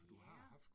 Ja